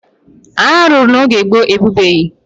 Agha a lụrụ mgbe gboo e bibeghị.